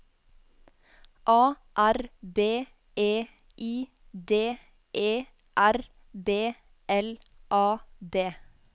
A R B E I D E R B L A D